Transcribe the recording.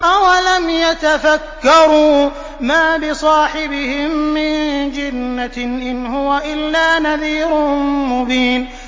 أَوَلَمْ يَتَفَكَّرُوا ۗ مَا بِصَاحِبِهِم مِّن جِنَّةٍ ۚ إِنْ هُوَ إِلَّا نَذِيرٌ مُّبِينٌ